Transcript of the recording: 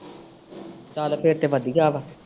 ਚਲ ਫੇਰ ਤੇ ਵਧੀਆ ਵਾ।